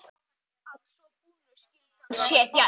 Að svo búnu skyldi hann setja upp